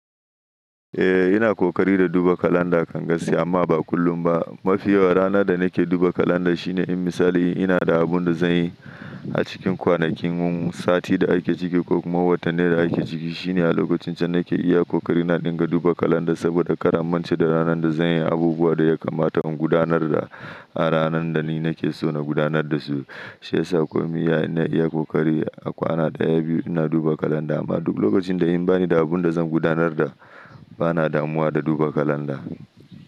Eh ina ƙoƙari da duba kalanda kan gaskiya amma ba kullum ba. Mafi yawan rana da nake duba kalanda shine in misali in ina da abun da zan yi a cikin kwanakin sati da ake ciki ko kuma watanne da ake ciki shine a lokacin can nake iya ƙoƙari ina dinga duba kalanda saboda kar a mance da ranar da zan yi abubuwa da yakamata in gudanar da a rananda ni nake so na gudanar da su. Shi yasa komin ya ina iya ƙoƙari a kwana ɗaya biyu ina duba kalanda amma duk lokacin da in bani da abun da zan gudanar da ba na damuwa da duba kalanda.